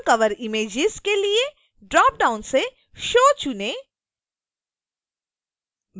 amazoncoverimages के लिए dropdown से show चुनें